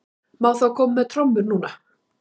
Má þá koma með trommur núna?